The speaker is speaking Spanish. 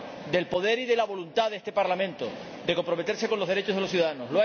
del poder y de la voluntad de este Parlamento de comprometerse con los derechos de los ciudadanos.